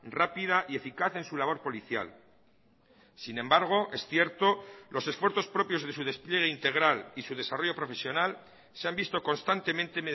rápida y eficaz en su labor policial sin embargo es cierto los esfuerzos propios de su despliegue integral y su desarrollo profesional se han visto constantemente